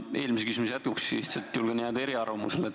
Ma eelmise küsimuse jätkuks ütlen, et julgen jääda eriarvamusele.